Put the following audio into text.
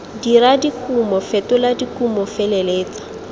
dira dikumo fetola dikumo feleletsa